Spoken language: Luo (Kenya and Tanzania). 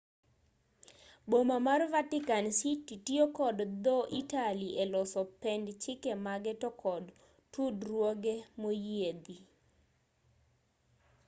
boma mar vatican city tiyo kod dho-italy e loso pend chike mage to kod tudruoge moyiedhi